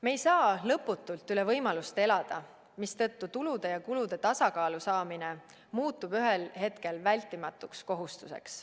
Me ei saa lõputult üle võimalust elada, mistõttu tulude ja kulude tasakaalu saamine muutub ühel hetkel vältimatuks kohustuseks.